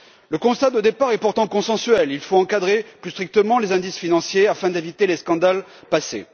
Le constat de départ est pourtant consensuel il faut encadrer plus strictement les indices financiers afin d'éviter les scandales passés.